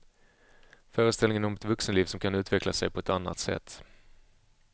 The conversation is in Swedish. Föreställningen om ett vuxenliv som kan utveckla sig på ett annat sätt.